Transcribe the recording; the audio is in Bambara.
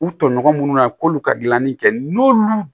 U tɔɲɔgɔn minnu na k'olu ka gilanni kɛ n'olu